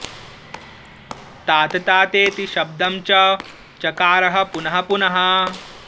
तात तातेति शब्दं च चकार ह पुनः पुनः